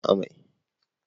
Ki dena yin amai!